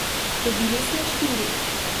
Dobili smo štiri.